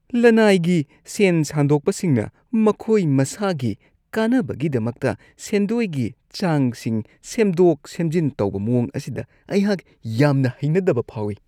ꯂꯅꯥꯏꯒꯤ ꯁꯦꯟ ꯁꯥꯟꯗꯣꯛꯄꯁꯤꯡꯅ ꯃꯈꯣꯏ ꯃꯁꯥꯒꯤ ꯀꯥꯟꯅꯕꯒꯤꯗꯃꯛꯇ ꯁꯦꯟꯗꯣꯏꯒꯤ ꯆꯥꯡꯁꯤꯡ ꯁꯦꯝꯗꯣꯛ-ꯁꯦꯝꯖꯤꯟ ꯇꯧꯕ ꯃꯋꯣꯡ ꯑꯁꯤꯗ ꯑꯩꯍꯥꯛ ꯌꯥꯝꯅ ꯍꯩꯅꯗꯕ ꯐꯥꯎꯋꯤ ꯫